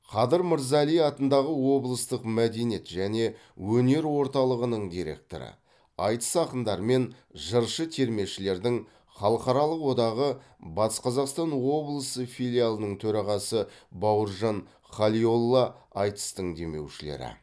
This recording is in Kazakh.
қадыр мырза әли атындағы облыстық мәдениет және өнер орталығының директоры айтыс ақындары мен жыршы термешілердің халықаралық одағы батыс қазақстан облысы филиалының төрағасы бауыржан халиолла айтыстың демеушілері